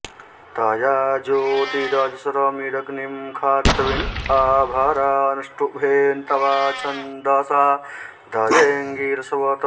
तया॒ ज्योति॒रज॑स्र॒मिद॒ग्निं खा॒त्वीन॒ आ भ॒रानु॑ष्टुभेन त्वा॒ छंद॒सा द॑देऽङ्गिर॒स्वत्